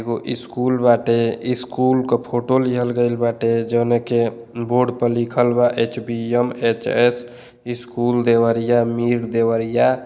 एगो स्कूल बाटे। स्कूल क फोटो लिहल गइल बाटे जोने के बोर्ड प लिखल बा HBM. HS. School Deoria Mir Deoria.